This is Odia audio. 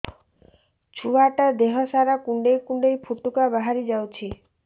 ଛୁଆ ଟା ଦେହ ସାରା କୁଣ୍ଡାଇ କୁଣ୍ଡାଇ ପୁଟୁକା ବାହାରି ଯାଉଛି